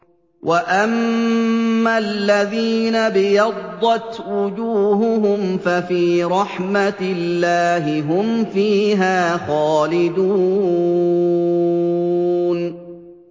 وَأَمَّا الَّذِينَ ابْيَضَّتْ وُجُوهُهُمْ فَفِي رَحْمَةِ اللَّهِ هُمْ فِيهَا خَالِدُونَ